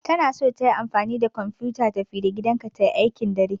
Tana son tayi amfani da kwamfuta tafi-da-gidanka ta yi aikin dare.